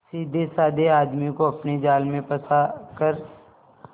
सीधेसाधे आदमी को अपने जाल में फंसा कर